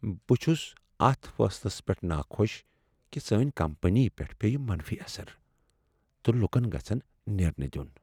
بہٕ چھُس اتھ فیصلس پیٹھ ناخۄش کہ سٲنۍ کمپنی پیٹھ پیٚیہ منفی اثرٕ تہٕ لُکن گژھہ نیرنہ دیُن۔